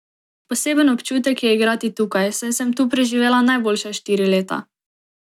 Poseben občutek je igrati tukaj, saj sem tu preživela najboljša štiri leta.